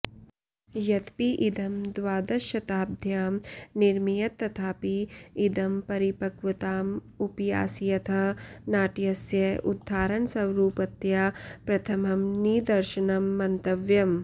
यद्यपि इदं द्वादशशताब्द्यां निरमीयत तथापि इदं परिपक्वताम् उपयास्यतः नाट्यस्य उदाहरणस्वरूपतया प्रथमं निदर्शनं मन्तव्यम्